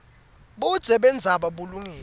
budze bendzaba bulungile